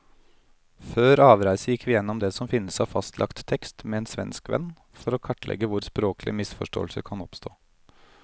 Før avreise gikk vi gjennom det som finnes av fastlagt tekst med en svensk venn, for å kartlegge hvor språklige misforståelser kan oppstå.